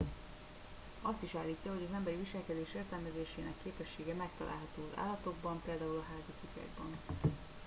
azt is állítja hogy az emberi viselkedés értelmezésének képessége megtalálható állatokban például a házi kutyákban